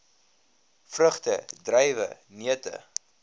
vrugte druiwe neute